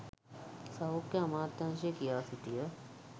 සෞඛ්‍ය අමාත්‍යාංශය කියා සිටිය